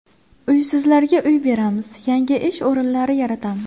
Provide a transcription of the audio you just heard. Uysizlarga uy beramiz, yangi ish o‘rinlari yaratamiz.